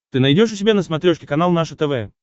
ты найдешь у себя на смотрешке канал наше тв